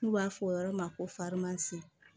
N'u b'a fɔ o yɔrɔ ma ko farinimansi